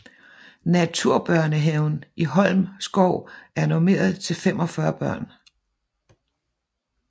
Naturbørnehaven i Holm Skov er normeret til 45 børn